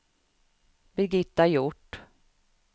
Birgitta Hjort